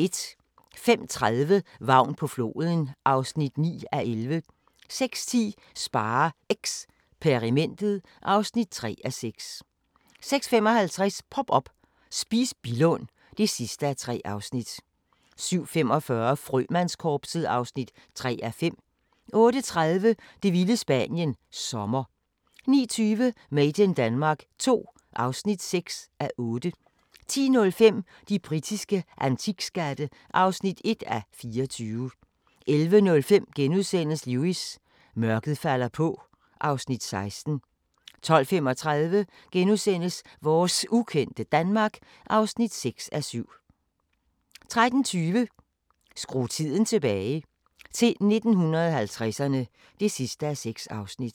05:30: Vagn på floden (9:11) 06:10: SpareXperimentet (3:6) 06:55: Pop up – Spis Billund (3:3) 07:45: Frømandskorpset (3:5) 08:30: Det vilde Spanien – Sommer 09:20: Made in Denmark II (6:8) 10:05: De britiske antikskatte (1:24) 11:05: Lewis: Mørket falder på (Afs. 16)* 12:35: Vores ukendte Danmark (6:7)* 13:20: Skru tiden tilbage – til 1950'erne (6:6)